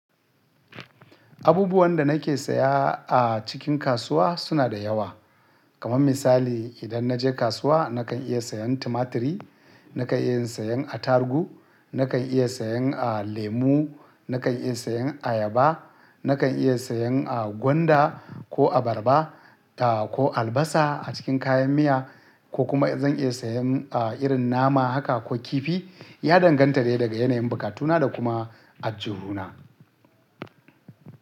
Abubuwan da nake saya a cikin kasuwa suna da yawa. Kaman misali idan naje kasuwa nakan iya sayan tumatri, nakan iya sayan atarugu, nakan iya sayan lemu, nakan iya sayan ayaba, nakan iya sayan gwanda ko abarba, ah ko albasa a cikin kayan miya ko kuma zan iya sayan ah irin nama haka ko kifi. Ya danganta dai daga yanayin bukatuna da kuma aljuhu na.